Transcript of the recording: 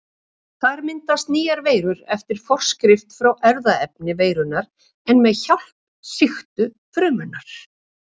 Þar myndast nýjar veirur eftir forskrift frá erfðaefni veirunnar en með hjálp sýktu frumunnar.